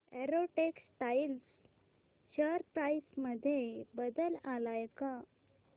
Arrow Textiles share price मध्ये बदल आलाय का